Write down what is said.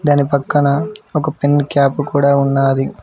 దాని పక్కన ఒక పెన్ క్యాప్ కూడా ఉన్నాది.